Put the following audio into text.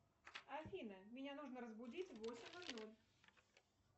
афина меня нужно разбудить в восемь ноль ноль